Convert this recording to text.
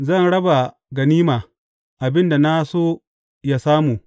Zan raba ganima; abin da na so ya samu.